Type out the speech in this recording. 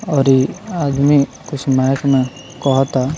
और ई आदमी कुछ माइक में कहता।